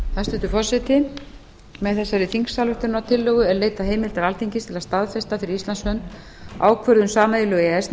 hæstvirtur forseti með þessari þingsályktunartillögu er leitað heimildar alþingis til að staðfesta fyrir íslands hönd ákvörðun sameiginlegu e e s